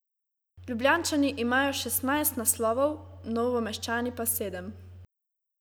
Ljubljančani imajo šestnajst naslovov, Novomeščani pa sedem.